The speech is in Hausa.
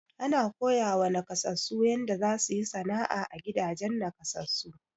Ana koyawa nakasassu yanda za su yi sana'a, a gidajen nakasassu.